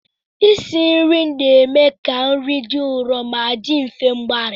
Isi nri na-eme ka nri dị nro ma dị mfe mgbari